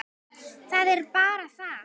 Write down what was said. Það er bara það.